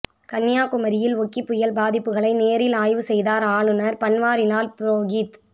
கன்னியாகுமரியில் ஒக்கி புயல் பாதிப்புகளை நேரில் ஆய்வு செய்தார் ஆளுநர் பன்வாரிலால் புரோஹித்